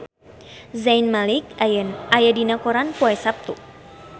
Zayn Malik aya dina koran poe Saptu